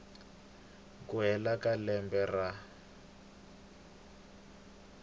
ku hela ka lembe ra